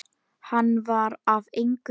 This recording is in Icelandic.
Hann var af engu fólki.